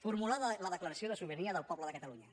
formular la declaració de sobirania del poble de catalunya